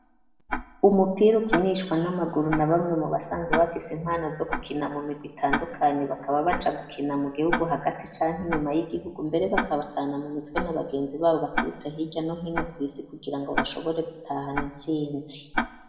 Umupira ukinishwa n'amaguru na bamwe mu basanzu bafise impano zo gukina mu mirwi itandukanye bakaba baja gukina mu gihugu hagati canki inyuma y'igihugu mbere bakabatana mu mitwe nabagenzi babo baturutse hirya no hino ku isi kugira ngo bashobore gutahana intsinzi.